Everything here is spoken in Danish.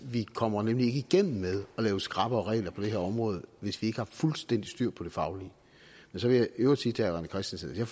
vi kommer nemlig ikke igennem med at lave skrappere regler på det her område hvis vi ikke har fuldstændig styr på det faglige men så vil jeg i øvrigt sige til herre rené christensen at jeg